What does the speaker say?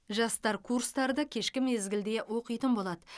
жастар курстарды кешкі мезгілде оқитын болады